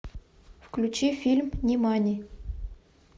включи фильм нимани